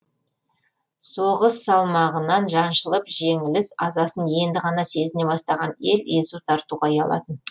соғыс салмағынан жаншылып жеңіліс азасын енді ғана сезіне бастаған ел езу тартуға ұялатын